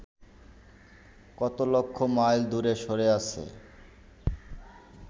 কত লক্ষ মাইল দূরে সরে আছে